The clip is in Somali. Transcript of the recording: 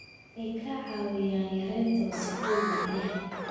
Waxay ka caawiyaan yaraynta wasakhowga biyaha.